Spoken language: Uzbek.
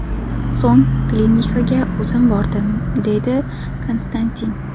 So‘ng klinikaga o‘zim bordim”, deydi Konstantin.